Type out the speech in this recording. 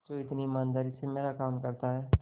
जो इतनी ईमानदारी से मेरा काम करता है